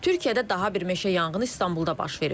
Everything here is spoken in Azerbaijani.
Türkiyədə daha bir meşə yanğını İstanbulda başlayıb.